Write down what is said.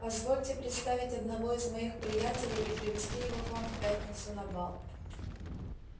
позвольте представить одного из моих приятелей и привезти его к вам в пятницу на бал